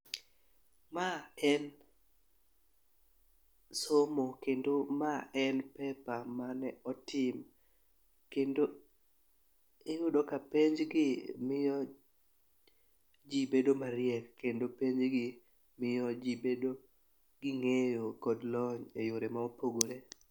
Ma en somo kendo ma en paper mane otim kendo iyudo ka penj gi miyo jii bedo mariek kendo penj gi miyo jii bedo gi ng'eyo kod lony e yore ma opogore.